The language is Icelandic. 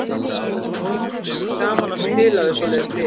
Mér finnst gaman að spila við svoleiðis lið.